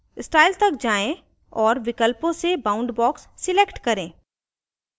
style तक जाएँ और विकल्पों से boundbox select करें